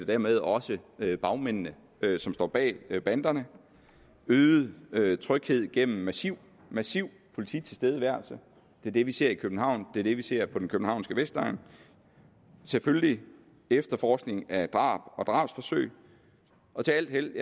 dermed også bagmændene som står bag banderne øget øget tryghed gennem massiv massiv polititilstedeværelse det er det vi ser i københavn det er det vi ser på den københavnske vestegn og selvfølgelig efterforskning af drab og drabsforsøg og til alt held